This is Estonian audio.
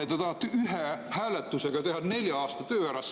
Ja teie tahate ühe hääletusega teha nelja aasta töö ära!